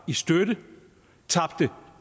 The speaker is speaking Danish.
i støtte tabte